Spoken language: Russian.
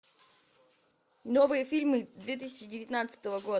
новые фильмы две тысячи девятнадцатого года